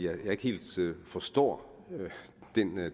at jeg ikke helt forstår